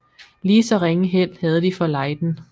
Lige så ringe held havde de for Leyden